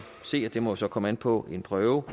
se og det må så komme an på en prøve